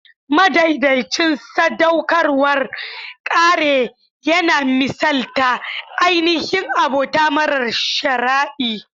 Madaidaicin sadaukarwar kare yana misalta ainihin abota mara sharadi.